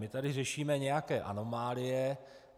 My tady řešíme nějaké anomálie.